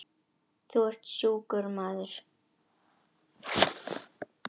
Þú ert sjúkur maður.